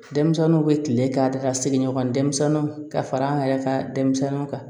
Denmisɛnninw bɛ kile k'a da ka sigiɲɔgɔn denmisɛnninw ka fara an yɛrɛ ka denmisɛnninw kan